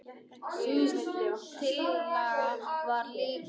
Sú tillaga var líka felld.